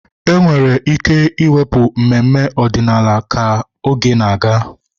Enwere ike ịwepụ mmemme ọdịnala ka oge na-aga.